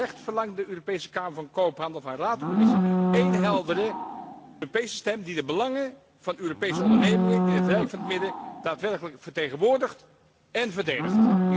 Terecht verlangt de Europese Kamer van Koophandel van Raad en Commissie één heldere Europese stem die de belangen van Europese ondernemingen in het rijk van het midden daadwerkelijk vertegenwoordigt en verdedigt.